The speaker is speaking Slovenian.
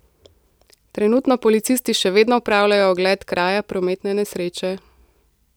Trenutno policisti še vedno opravljajo ogled kraja prometne nesreče.